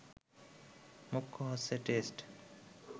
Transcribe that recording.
মুখ্য হচ্ছে টেস্ট